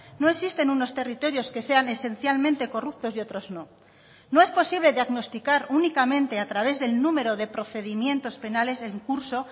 no existen unos territorios que sean esencialmente corruptos y otros no no es posible diagnosticar únicamente a través del número de procedimientos penales en curso